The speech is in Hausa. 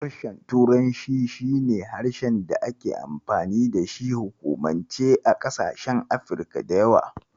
Harshen turanci shi ne harshen da ake amfani da shi a hukumance a ƙasashen Afrika da yawa.